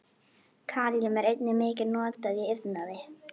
Kalíum er einnig mikið notað í iðnaði.